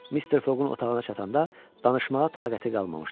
Mister Foqun otağına çatanda danışmağa taqəti qalmamışdı.